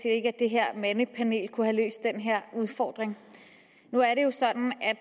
ikke at det her mandepanel kunne have løst den her udfordring nu er det jo sådan at